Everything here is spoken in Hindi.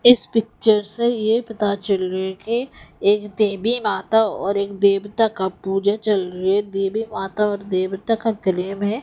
इस पिक्चर से ये पता चल रही है कि एक देवी माता और एक देवता का पूजा चल रहे देवी माता और देवता का गले में--